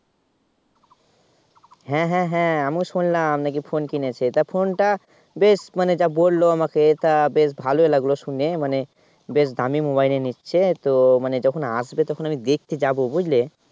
হ্যাঁ হ্যাঁ হ্যাঁ আমিও শুনলাম নাকি Phone কেনেছে তা Phone টা বেশ মানে যা বলল আমাকে তা বেশ ভালো লাগলো শুনে মানে বেশ দামি Mobile ই নিচ্ছে তো মানে যখন আসবে তখন আমি দেখতে যাব বুঝলে